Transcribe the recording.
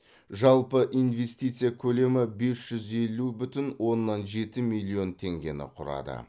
жалпы инвестиция көлемі бес жүз елу бүтін оннан жеті миллион теңгені құрады